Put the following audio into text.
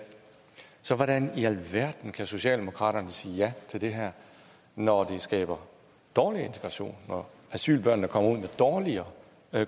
så hvordan i alverden kan socialdemokraterne sige ja til det her når det skaber dårlig integration når asylbørnene kommer ud med dårligere